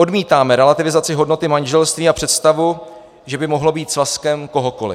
Odmítáme relativizaci hodnoty manželství a představu, že by mohlo být svazkem kohokoli.